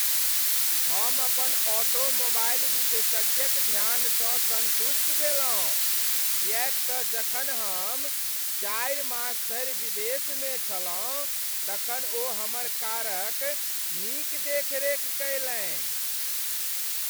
हम अपन ऑटोमोबाइल विशेषज्ञक ध्यानसँ सन्तुष्ट भेलहुँ किएक तँ जखन हम चारि मास धरि विदेशमे छलहुँ तखन ओ हमर कारक नीक देखरेख कयलनि।